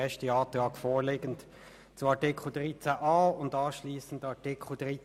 Es liegt ein Antrag zu Artikel 13a vor sowie auch zu Artikel 13b.